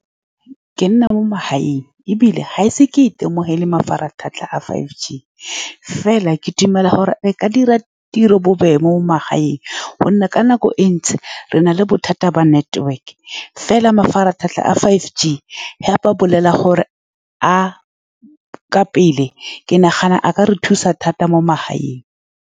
Ke nna mo magaeng, ebile ga ke ise ke itemogele mafaratlhatlha a five G, mme fela ke dumela gore e ka dira tiro bobebe mo magaeng, ka gonne ka nako e ntsi re na le bothata ba network-e, mme fela, mafaratlhatlha a five G, fa ba bolela gore a ka pele, ke nagana a ka re thusa thata mo magaeng.